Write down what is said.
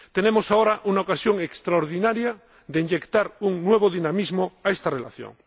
Tenemos ahora una ocasión extraordinaria de inyectar un nuevo dinamismo a esta relación.